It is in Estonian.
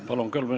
Palun!